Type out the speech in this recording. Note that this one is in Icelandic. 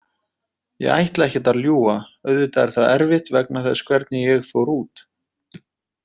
Ég ætla ekkert að ljúga, auðvitað er það erfitt vegna þess hvernig ég fór út.